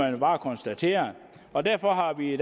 jo bare konstatere og derfor har vi